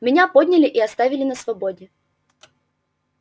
меня подняли и оставили на свободе